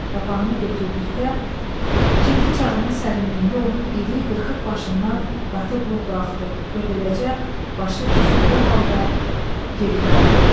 Papağını götürdükdə ikinci çağının sərinliyində onun iri, qırxıq başından qatı buğ qalxdı və beləcə, başı tüstülü halda geri qayıtdı.